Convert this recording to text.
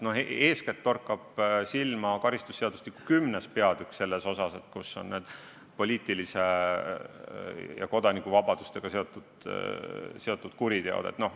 Eeskätt torkab silma karistusseadustiku 10. peatükk, kus on kirjas poliitiliste õiguste ja kodanikuvabadustega seotud kuriteod.